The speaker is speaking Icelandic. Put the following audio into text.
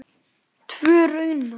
Tvö raunar.